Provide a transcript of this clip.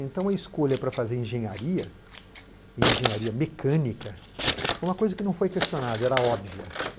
Então, a escolha para fazer engenharia, e engenharia mecânica, foi uma coisa que não foi questionada, era óbvia.